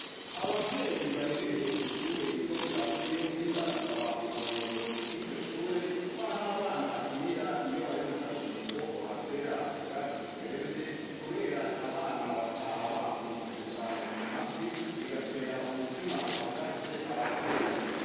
Ababyeyi barereye kw'ishure rito rya Buyenzi, barasaba uburongozi bw'iryo shure ,kw'aho abana bakinira iyo bari mu karuhuko, ko bohatera ubwatsi buremvye ,kubera abana bataha bakungutse cane ku mavi , bigatera umutima uhagaze abavyeyi.